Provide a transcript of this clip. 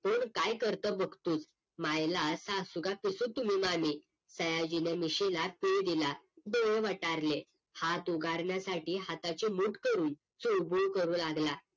कोण काय करतं बघतेच मायला सासू का कसं तुम्ही मामी सयाजीनं मिशीला पीळ दिला डोळे वटारले हात उगारण्यासाठी हाताची मूठ करून चुळबुळ करू लागला